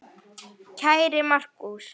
Kæri Markús.